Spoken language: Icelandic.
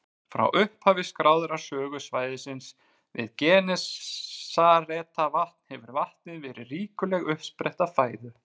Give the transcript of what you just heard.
Frá upphafi skráðrar sögu svæðisins við Genesaretvatn hefur vatnið verið ríkuleg uppspretta fæðu.